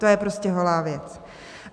To je prostě holá věc.